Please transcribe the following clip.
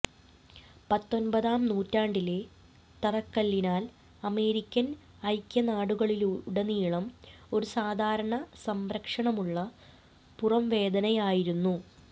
പത്തൊൻപതാം നൂറ്റാണ്ടിലെ തറക്കല്ലിനാൽ അമേരിക്കൻ ഐക്യനാടുകളിലുടനീളം ഒരു സാധാരണ സംരക്ഷണമുള്ള പുറംവേദനയായിരുന്നു